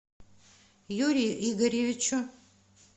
юрию игоревичу